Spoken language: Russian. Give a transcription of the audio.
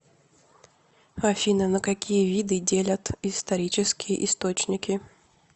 афина на какие виды делят исторические источники